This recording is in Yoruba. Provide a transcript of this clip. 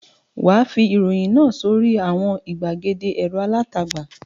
Wà á fi ìròyìn náà sórí àwọn ìgbàgede ẹ̀rọ alátagbà.